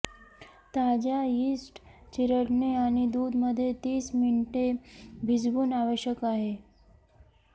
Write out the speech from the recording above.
ताज्या यीस्ट चिरडणे आणि दूध मध्ये तीस मिनिटे भिजवून आवश्यक आहे